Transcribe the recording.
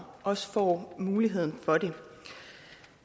også får muligheden for det